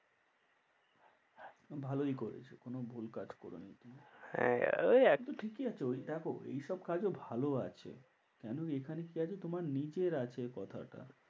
ভালোই করেছো কোনো ভুল কাজ করোনি তুমি। হ্যাঁ ওই, কিন্তু ঠিকই আছে ওই দেখো এই সব কাজও ভালো আছে। কেন এখানে কি আছে তোমার নিজের আছে কথাটা।